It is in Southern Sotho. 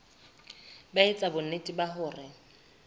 ba etsa bonnete ba hore